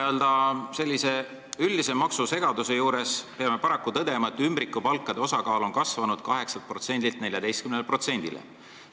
Täna peame üldise maksusegaduse juures paraku tõdema, et ümbrikupalkade osakaal on kasvanud 8%-lt 14%-le.